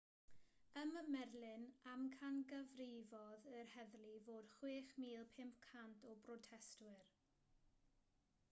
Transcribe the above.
ym merlin amcangyfrifodd yr heddlu fod 6,500 o brotestwyr